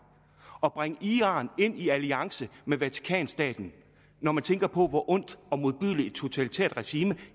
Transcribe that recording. at bringe iran ind i alliance med vatikanstaten når man tænker på hvor ondt og modbydeligt et totalitært regime